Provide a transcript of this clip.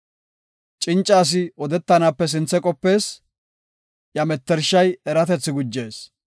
Cinca asi odetanaape sinthe qopees; iya mettershay eratethi gujees.